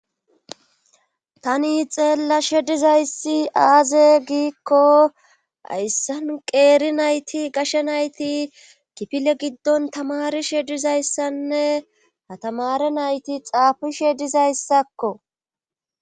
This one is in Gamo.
tani xeellashe dizayssi aaze giikko ayssan qeeri nayti gashe nayti kifile giddon tamari shedizayssanne hatamare nayti xaafi shedizayssakko